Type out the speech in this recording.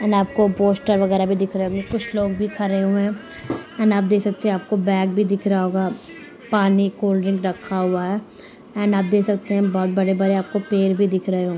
यहाॅं आपको पोस्टर वगेरा भी दिख रहे हैं कुछ लोग भी खड़े हुये हैं एंड आप देख सकते हैं आपको बेग भी दिख रहा होगा पानी कोलड्रिंक रखा हुआ है एंड आप देख सकते हैं बोहोत बड़े बड़े पेड़ भी दिख रहे --